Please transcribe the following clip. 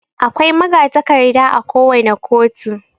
Akwai magatakarda akowane koto.